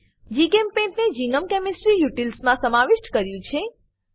જીચેમ્પેઇન્ટ ને GNOME chemistry utils મા સમાવિષ્ટ કર્યું છે